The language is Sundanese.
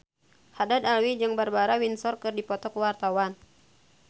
Haddad Alwi jeung Barbara Windsor keur dipoto ku wartawan